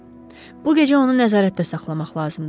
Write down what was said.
Bu gecə onu nəzarətdə saxlamaq lazımdır.